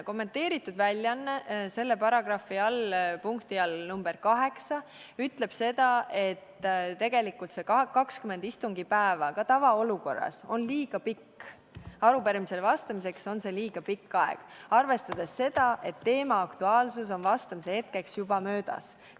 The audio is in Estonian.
Kommenteeritud väljaanne selle paragrahvi punkti nr 8 all ütleb, et tegelikult see 20 istungipäeva on ka tavaolukorras liiga pikk aeg, arupärimisele vastamiseks on see liiga pikk aeg, arvestades seda, et teema aktuaalsus on vastamise hetkeks juba möödas.